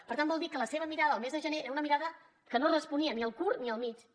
per tant vol dir que la seva mirada al mes de gener era una mirada que no responia ni al curt ni al mitjà